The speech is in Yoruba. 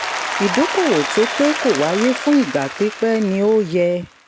ìdókòwò tó pé kó wáyé fún ìgbà pípẹ́ ni ó yẹ.